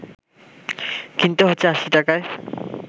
কিনতে হচ্ছে ৮০ টাকায়